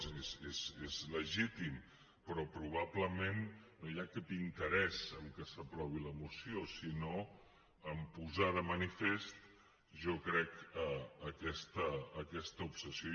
és a dir és legítim però probablement no hi ha cap interès en que s’aprovi la moció sinó en posar de manifest jo crec aquesta obsessió